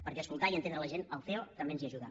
perquè a escoltar i entendre la gent el ceo també ens hi ajuda